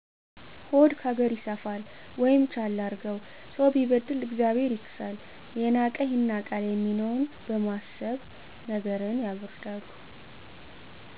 ሆድ ካገር ይሰፋል ወይም ቻል አድርገው፣ ሰው ቢበድል እግዚአብሔር ይክሳል፣ የናቀህ ይናቃል የሚለውን በማሰብ ነገርን ያበረዳሉ።